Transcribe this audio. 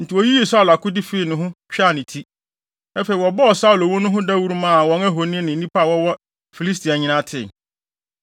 Enti woyiyii Saulo akode fii ne ho, twaa ne ti. Afei wɔbɔɔ Saulo wu no ho dawuru maa wɔn ahoni ne nnipa a wɔwɔ Filistia nyinaa tee.